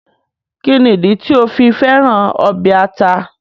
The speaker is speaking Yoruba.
Kíni ìdí tì o fi fẹ̀ràn obẹ̀ àtà?